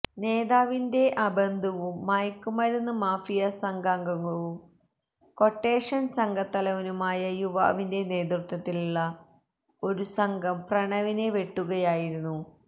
നേതാവിന്റെ ബന്ധുവും മയക്കുമരുന്ന് മാഫിയാസംഘാംഗവും ക്വട്ടേഷന് സംഘത്തലവനുമായ യുവാവിന്റെ നേതൃത്വത്തിലുള്ള ഒരു സംഘം പ്രണവിനെ വെട്ടുകയയായിരുന്നു